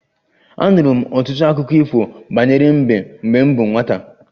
Anụrụ m ọtụtụ akụkọ ifo banyere mbe mgbe m bụ nwata